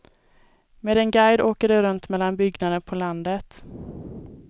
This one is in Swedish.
Med en guide åker de runt mellan byggnader på landet.